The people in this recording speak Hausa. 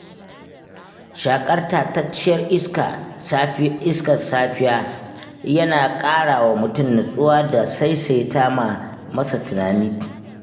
Shaƙar tatacciyar safi iskar safiya yana ƙarawa mutum nutsuwa da saisaita ma masa tunani.